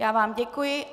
Já vám děkuji.